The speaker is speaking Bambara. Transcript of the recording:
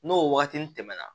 N'o waatini tɛmɛna